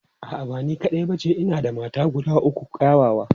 A'a, ba ni kaɗai ba ce, ina da mata guda uku kyawawa.